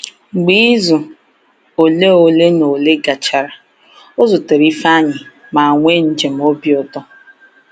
Mgbe izu ole ole na ole gachara, ọ zutere Ifeanyi ma nwee njem obi ụtọ.